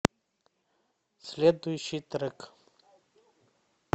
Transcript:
следующий трек